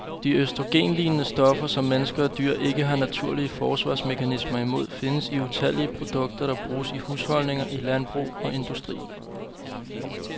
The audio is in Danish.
De østrogenlignende stoffer, som mennesker og dyr ikke har naturlige forsvarsmekanismer imod, findes i utallige produkter, der bruges i husholdninger, i landbrug og industri.